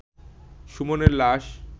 সুমনের লাশ